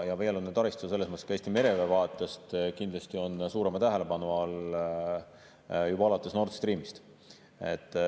Ja veealune taristu on Eesti mereväe vaatest kindlasti suurema tähelepanu all juba alates Nord Streamist.